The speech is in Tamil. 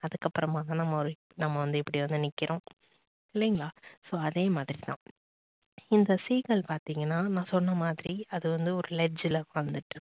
அதுக்கப்புறமா தான் நம்ப ஒரு நம்ப வந்து இப்படி வந்து நிக்கிறோம். இல்லைங்களா so அதே மாதிரி தான் இந்த seegal பார்த்தீங்கன்னா நான் சொன்ன மாதிரி அது வந்து ஒரு ledge ல பொறந்துச்சு